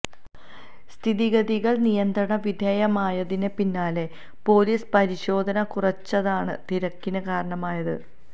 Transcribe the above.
സ്ഥിതിഗതികള് നിയന്ത്രണ വിധേയമായതിന് പിന്നാലെ പോലീസ് പരിശോധന കുറച്ചതാണ് തിരക്കിന് കാരണമായത്